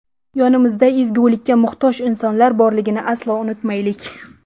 Yonimizda ezgulikka muhtoj insonlar borligini aslo unutmaylik.